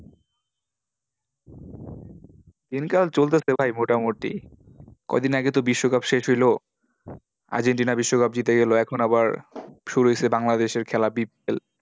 দিনকাল চলতেছে ভাই মোটামুটি। কয়দিন আগে তো বিশ্বকাপ শেষ হইলো। Argentina বিশ্বকাপ জিতে গেলো। এখন আবার, শুরু হয়েছে বাংলাদেশের খেলা, bpl